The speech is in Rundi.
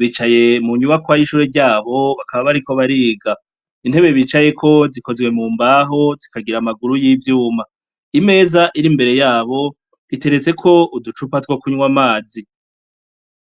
bicaye mu nyubakwa y'ishure ryabo bakaba bariko bariga . Intebe bicayeko zikozwe mu mbaho zikagira amaguru y'ivyuma. Imeza iri imbere yabo iteretseko uducupa two kunwa amazi.